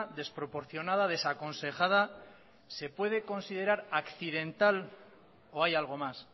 desproporcionada desaconsejada se puede considerar accidental o hay algo más